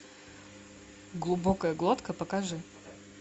глубокая глотка покажи